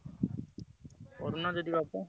କରୁନ ଯଦି ।